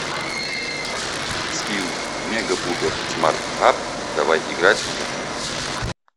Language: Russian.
скилл мегапуперсмартапп давай играть в